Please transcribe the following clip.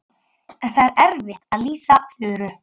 En það er erfitt að lýsa Þuru.